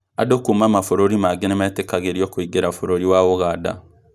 Andũ kuuma mabũrũri mangĩ nĩmetĩkagĩrio kũingĩra bũrũri wa Ũganda